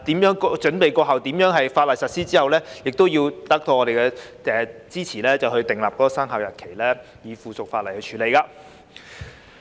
在準備期過後，亦要得到我們的支持後才訂立法例的生效日期，並以附屬法例處理。